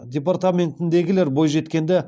департаментіндегілер бойжеткенді